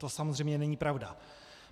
To samozřejmě není pravda.